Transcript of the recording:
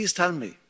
Please tell me.